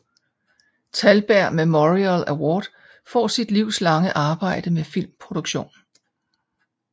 Thalberg Memorial Award for sit livslange arbejde med filmproduktion